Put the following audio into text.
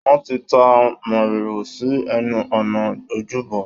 Wọ́n ti ta mòrìwò sí ẹnu ọ̀nà ojúbọ.